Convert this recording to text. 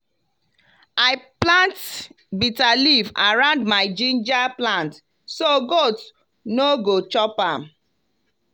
i plant bitter leaf around my ginger plant so goat no go chop am.